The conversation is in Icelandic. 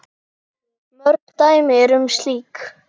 Mörg dæmi eru um slíkt.